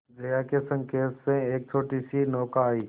जया के संकेत से एक छोटीसी नौका आई